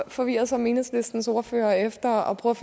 forvirret som enhedslistens ordfører efter at prøve